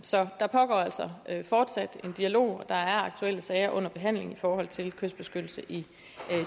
så der pågår altså fortsat en dialog der er aktuelle sager under behandling i forhold til kystbeskyttelse i